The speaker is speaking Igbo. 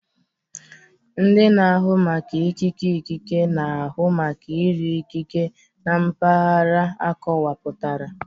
Ndị na-ahụ maka ikike ikike na-ahụ maka ire ikike na mpaghara akọwapụtara